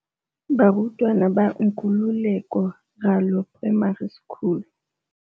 Barutwana ba Nkululeko Ralo Primary School.